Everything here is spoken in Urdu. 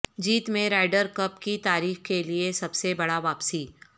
جیت میں رائڈر کپ کی تاریخ کے لئے سب سے بڑا واپسی